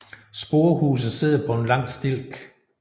Sporehuset sidder på en lang stilk